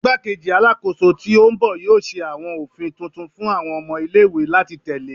Igbakeji Alakoso ti o n bọ yoo ṣe awọn ofin tuntun fun awọn ọmọ ile-iwe lati tẹle